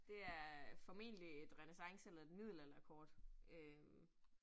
Det er formentlig et renæssance eller et middelalderkort øh